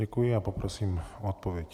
Děkuji a poprosím o odpověď.